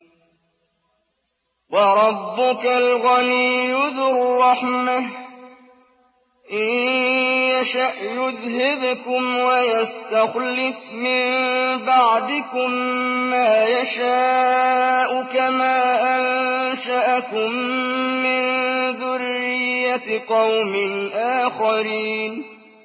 وَرَبُّكَ الْغَنِيُّ ذُو الرَّحْمَةِ ۚ إِن يَشَأْ يُذْهِبْكُمْ وَيَسْتَخْلِفْ مِن بَعْدِكُم مَّا يَشَاءُ كَمَا أَنشَأَكُم مِّن ذُرِّيَّةِ قَوْمٍ آخَرِينَ